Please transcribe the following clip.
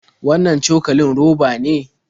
Wannan cokalin roba ne?